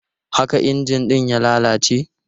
Haka injin ɗin ya lalace?